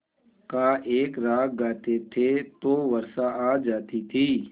का एक राग गाते थे तो वर्षा आ जाती थी